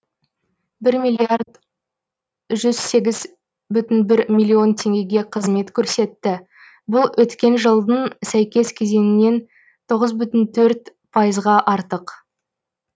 бір миллиард жүз сегіз бүтін бір миллион теңгеге қызмет көрсетті бұл өткен жылдың сәйкес кезеңінен тоғыз бүтін төрт пайызға артық